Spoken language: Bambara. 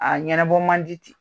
A ɲɛnɛbɔ man di te